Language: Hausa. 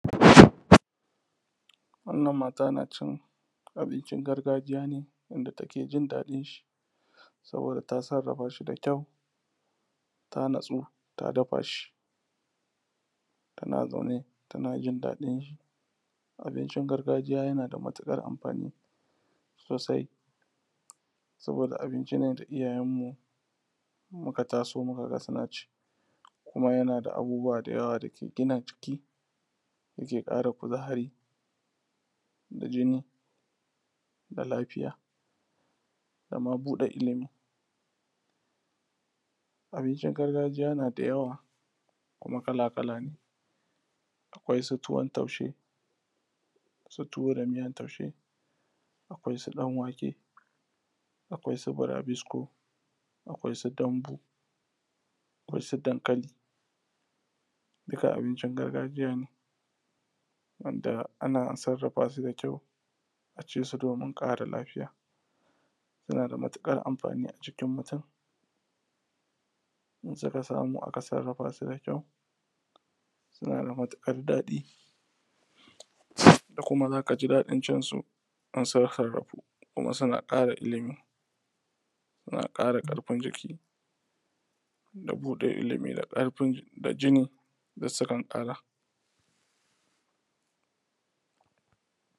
wannan mata na cin abincin gargajiya ne wanda take jindaɗin shi saboda ta sarrafa shi da kyau ta natsu ta dafa shi tana zaune tana jindaɗin shi abincin gargajiya yana da matuƙar amfani sosai saboda abinci ne da iyayen mu muka taso muka ga suna ci kuma yana da abubuwa da yawa da ke gina jiki yake ƙara kuzari da jini da lafiya da ma buɗan ilimi abincin gargajiya na da yawa kuma kala kala ne akwai su tuwon taushe tuwo da miyan taushe akwai su ɗan wake akwai su burabisko akwai su dambu akwai su dankali duka abincin gargajiya ne wanda ana sarrafa su da kyau a ci su domin ƙara lafiya yana da matuƙar amfani a jikin mutum in suka samu aka sarrafa su da kyau suna da matuƙar daɗi da kuma za ka ji daɗin cin su in sun sarrafu kuma suna ƙara ilimi suna ƙara ƙarfin jiki da buɗe ilimi da ƙarfin jini duk sukan ƙara